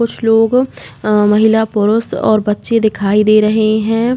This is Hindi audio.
कुछ लोग अ महिला पुरुष और बच्चे दिखाई दे रहे हैं।